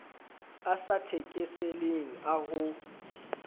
a sa thekeseleng a ho